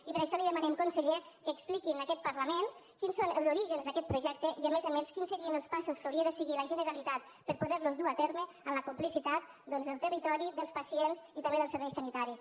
i per això li demanem conseller que expliqui en aquest parlament quins són els orígens d’aquest projecte i a més a més quins serien els passos que hauria de seguir la generalitat per poder los dur a terme amb la complicitat del territori dels pacients i també dels serveis sanitaris